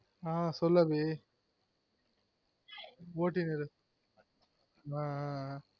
ஆஹ் சொல்லு அபி ஒட்டினு இரு